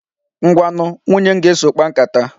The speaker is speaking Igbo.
Ngwanu, nwunye m ga-eso, kpaa nkata.